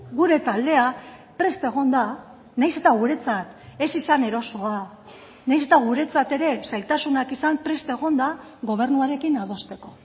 gure taldea prest egon da nahiz eta guretzat ez izan erosoa nahiz eta guretzat ere zailtasunak izan prest egon da gobernuarekin adosteko